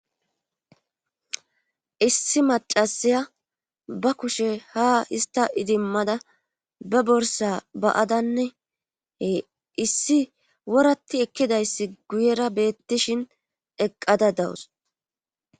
issi macasaya ba kushe ha ista idimmada be borsa baadanne he issi woratti ekkidayssi guyera beettishin eqqada dawus